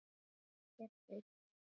Ekkert veit ég.